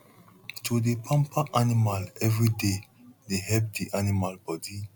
to dey pamper animal every day dey help di animal body